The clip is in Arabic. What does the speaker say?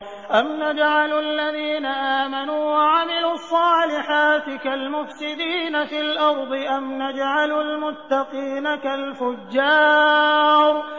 أَمْ نَجْعَلُ الَّذِينَ آمَنُوا وَعَمِلُوا الصَّالِحَاتِ كَالْمُفْسِدِينَ فِي الْأَرْضِ أَمْ نَجْعَلُ الْمُتَّقِينَ كَالْفُجَّارِ